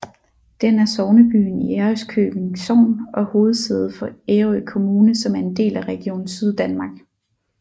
Den er sognebyen i Ærøskøbing Sogn og hovedsæde for Ærø Kommune som er en del af Region Syddanmark